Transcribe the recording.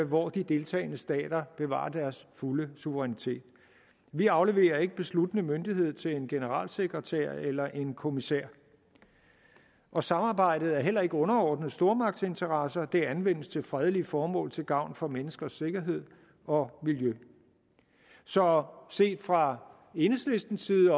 hvor de deltagende stater bevarer deres fulde suverænitet vi afleverer ikke besluttende myndighed til en generalsekretær eller en kommissær og samarbejdet er heller ikke underordnet stormagtsinteresser det anvendes til fredelige formål til gavn for menneskers sikkerhed og miljø så set fra enhedslistens side